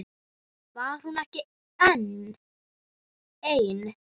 Var hún ekki ein?